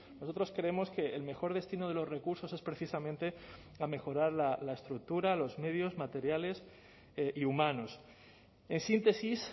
nosotros creemos que el mejor destino de los recursos es precisamente a mejorar la estructura los medios materiales y humanos en síntesis